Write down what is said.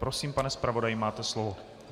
Prosím, pane zpravodaji, máte slovo.